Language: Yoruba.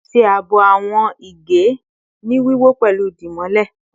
Ṣe aabo awọn ege ni wiwọ pẹlu dimole